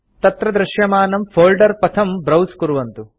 तत्र दृश्यमानं फोल्डर पथं ब्राउज़ कुर्वन्तु